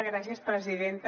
gràcies presidenta